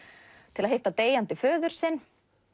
til að hitta deyjandi föður sinn